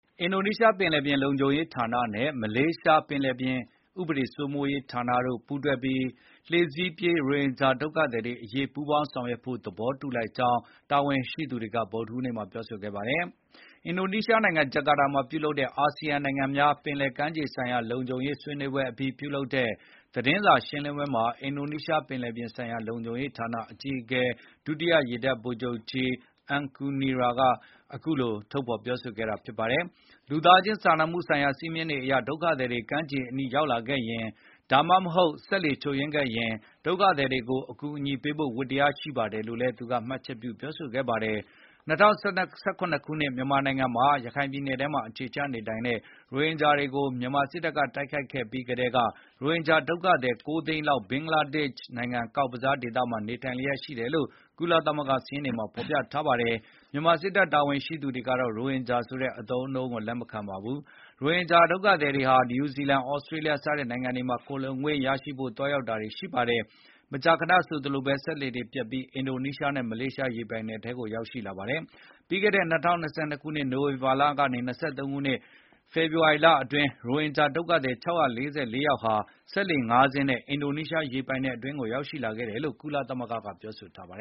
အင်ဒိုနီးရှားပင်လယ်ပြင်လုံခြုံရေးဌာနနဲ့ မလေးရှားပင်လယ်ပြင်ဥပဒေစိုးမိုးရေးဌာနတို့ ပူးတွဲပြီး လှေစီးပြေးရိုဟင်ဂျာဒုက္ခ သည်တွေအရေးပူးပေါင်းဆောင်ရွက်ဖို့ သဘောတူလိုက်ကြောင်း တာဝန်ရှိသူ တွေက ဗုဒ္ဓဟူးနေ့မှာပြောဆိုခဲ့ပါတယ်။ အင်ဒိုနီးရှားနိုင်ငံ၊ ဂျာကာတာမှာ ဗုဒ္ဓဟူးနေ့ကျင်းပတဲ့ ၂၀၂၃ (ASEAN Coast Guard Forum) အာဆီယံနိုင်ငံများ ပင်လယ်ကမ်းရိုးတန်းဆိုင်ရာလုံခြုံရေးဆွေးနွေးပွဲအပြီး ပြုလုပ်တဲ့ သတင်းစာ ရှင်းလင်းပွဲမှာ အင်ဒိုနီးရှားပင်လယ်ပြင်ဆိုင်ရာလုံခြုံရေးဌာနအကြီးအကဲ ဒုတိယရေတပ်ဗိုလ်ချုပ်ကြီး Aan Kurnia က အခုလိုထုတ်ဖေါ်ပြောဆိုခဲ့တာပါ။ လူသားခြင်းစာနာမှုဆိုင်ရာစည်းမျဉ်းတွေအရ ဒုက္ခသည်တွေ ကမ်းခြေအနီးရောက်လာခဲ့ရင်၊ ဒါမှမဟုတ် စက်လှေချို့ ယွင်းခဲ့ရင်၊ ဒုက္ခသည်တွေကို အကူအညီပေးဖို့ ဝတ္တရားရှိပါတယ်လို့လည်းသူက မှတ်ချက် ပြုပြောဆိုခဲ့ပါတယ်။ ၂၀၁၇ ခုနှစ်မြန်မာနိုင်ငံမှာ ရခိုင်ပြည်နယ်ထဲမှာအခြေချနေထိုင်နေတဲ့ ရိုဟင်ဂျာတွေကို မြန်မာစစ်တပ်က တိုက်ခိုက်ခဲ့ပြီးကတည်းက ရိုဟင်ဂျာဒုက္ခသည် ၉ သိန်းလောက် ဘင်္ဂလားဒေ့ရှ်နိုင်ငံ ကောက်ဘဇားဒေသမှာ နေထိုင်လျက်ရှိတယ်လို့ ကုလသမဂ္ဂစာရင်းတွေမှာဖေါ်ပြထားပါတယ်။ မြန်မာစစ်တပ်တာဝန်ရှိသူတွေကတော့ ရိုဟင်ဂျာဆိုတဲ့အသုံးအနှုန်း ကိုလက်မခံပါဘူး။ ဒီရိုဟင်ဂျာဒုက္ခသည်တွေဟာ နယူးဇီလန်၊ သြစတြေးလျ စတဲ့နိုင်ငံတွေမှာ ခိုလှုံခွင့်ရဖို့သွားရောက်တာ တွေရှိပါတယ်။ မကြာခဏဆိုသလိုဘဲ စက်လှေတွေပျက်ပြီး အင်ဒိုနီးရှားနဲ့မလေးရှား ရေပိုင်နက်ထဲ ကိုရောက်ရှိလာတတ်ပါတယ်။ ပြီးခဲ့တဲ့ ၂၀၂၂ ခုနှစ် နိုဝင်ဘာလကနေ ၂၀၂၃ ခုနှစ် ဖေဖေါ်ဝါရီလအတွင်း ရိုဟင်ဂျာဒုက္ခသည် ၆၄၄ ယောက်ဟာ စက်လှေ ၅ စင်းနဲ့ အင်ဒိုရီးရှားရေပိုင်နက်အတွင်းကိုရောက်ရှိလာခဲ့တယ်လို့ ကုလသမဂ္ဂကဖေါ်ပြထားပါတ